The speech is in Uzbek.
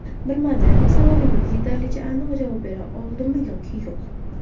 Bilmadim, savolingizga yetarlicha aniq javob bera oldimmi yoki yo‘q.